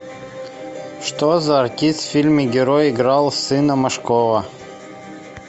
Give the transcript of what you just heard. что за артист в фильме герой играл сына машкова